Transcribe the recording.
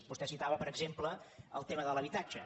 vostè citava per exemple el tema de l’habitatge